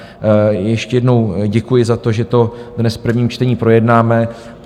Ještě jednou děkuji za to, že to dnes v prvním čtení projednáme.